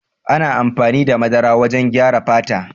Ana amfani da madara wajen gyara fata.